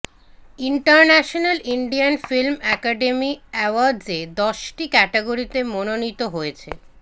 international Indian film academy অ্যাওয়ার্ডসে দশটি ক্যাটগরিতে মনোনীত হয়েছে